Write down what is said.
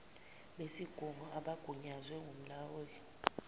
besigungu abagunyazwe ngumlawuli